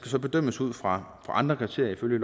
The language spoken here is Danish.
så bedømmes ud fra andre kriterier ifølge